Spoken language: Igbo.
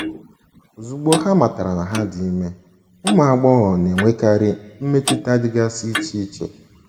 Ozugbo ha matara na ha dị ime, ụmụ agbọghọ na - enwekarị mmetụta dịgasị iche iche.